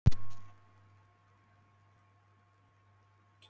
Breki: Voruð þið með einhverja, einhverja pakka handa krökkunum?